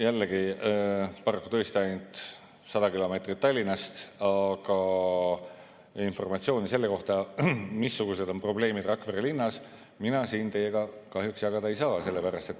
Jällegi, paraku tõesti ainult 100 kilomeetrit Tallinnast, aga informatsiooni selle kohta, missugused on probleemid Rakvere linnas, mina siin teiega kahjuks jagada ei saa.